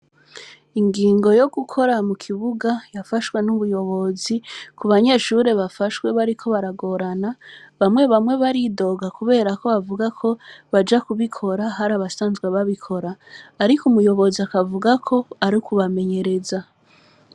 Ingingo yo gukora mu kibuga yafashwe n’ubuyobozi, ku banyeshure bafashwe bariko baragorana, bamwe bamwe baridoga kubera ko bavuga ko baja kubikora hari abasanzwe babikora; ariko umuyobozi akavuga ko ari ukubamenyereza.